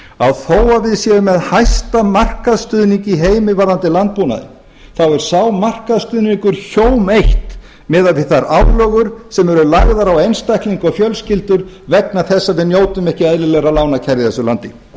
að þó að við séum með hæsta markaðsstuðning í heimi varðandi landbúnaðinn er sá markaðsstuðning hjóm eitt miðað við þær álögur sem eru lagðar á einstaklinga og fjölskyldur vegna þess að við njótum ekki eðlilegra lánakjara í þessu landi